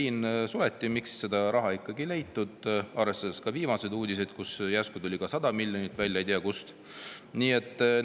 Miks seda raha ikkagi ei leitud, viimaste uudiste järgi on järsku ei tea kust välja tulnud 100 miljonit?